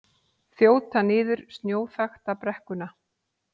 Þjóta niður snjóþakta brekkuna